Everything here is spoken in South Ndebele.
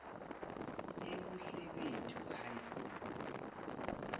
ebuhlebethu high school